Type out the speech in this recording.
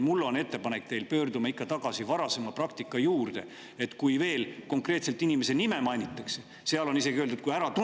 Mul on teile ettepanek: pöördume ikka tagasi varasema praktika juurde,, kui konkreetse inimese nime mainitakse – seal on isegi öeldud, et kui on äratuntav.